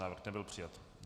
Návrh nebyl přijat.